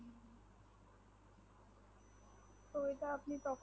ঐটা আপনি তখন